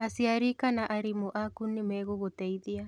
Aciari kana aarimũ aku nĩ megũgũteithia.